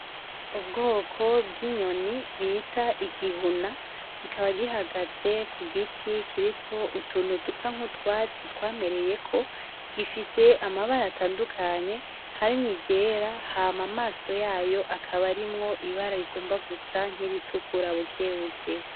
Ubwoko bw'inyoni bita igihuna, kikaba gihagaze ku giti kiriko utuntu dusa nk'utwatsi twamereyeko, gifise amabara atandukanye harimwo iryera hama amaso yayo akaba arimwo ibara rigomba gusa nk'iritukura bukebuke.